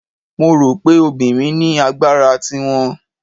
Mo rò pé obìnrin ní agbára ti wọn.